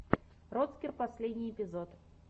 роцкер последний эпизод